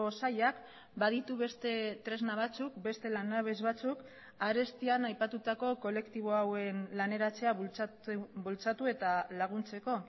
sailak baditu beste tresna batzuk beste lanabes batzuk arestian aipatutako kolektibo hauen laneratzea bultzatu eta laguntzeko